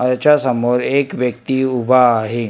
त्याच्यासमोर एक व्यक्ती उभा आहे.